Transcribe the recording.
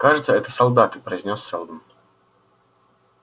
кажется это солдаты произнёс сэлдон